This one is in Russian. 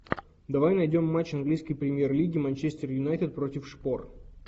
давай найдем матч английской премьер лиги манчестер юнайтед против шпор